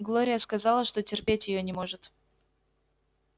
глория сказала что терпеть её не может